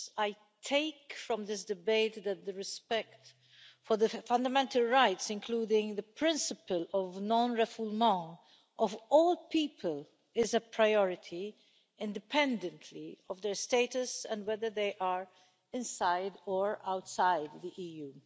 I take from this debate that the respect for the fundamental rights, including the principle of of all people, is a priority, independently of their status and whether they are inside or outside the EU.